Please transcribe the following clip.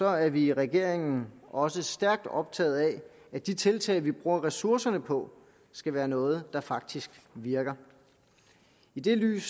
er vi i regeringen også stærkt optaget af at de tiltag vi bruger ressourcerne på skal være noget der faktisk virker i det lys